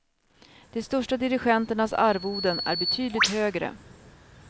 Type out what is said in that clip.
De största dirigenternas arvoden är betydligt högre.